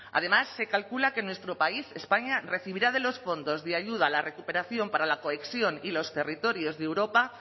además se calcula que nuestro país españa recibirá de los fondos de ayuda a la recuperación para la cohesión y los territorios de europa